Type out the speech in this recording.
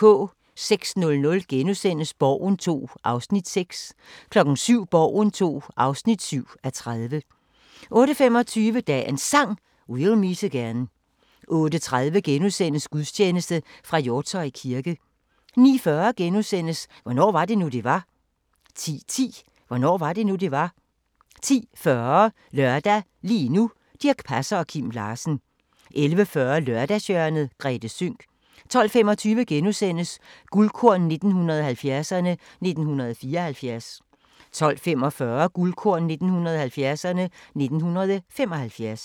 06:00: Borgen II (6:30)* 07:00: Borgen II (7:30) 08:25: Dagens Sang: We'll meet again 08:30: Gudstjeneste fra Hjortshøj kirke * 09:40: Hvornår var det nu, det var? * 10:10: Hvornår var det nu, det var? 10:40: Lørdag – lige nu: Dirch Passer og Kim Larsen 11:40: Lørdagshjørnet - Grethe Sønck 12:25: Guldkorn 1970'erne: 1974 * 12:45: Guldkorn 1970'erne: 1975